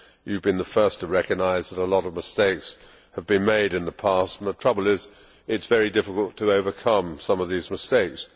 You have been the first to recognise that a lot of mistakes have been made in the past, and the trouble is that it is very difficult to overcome some of these mistakes.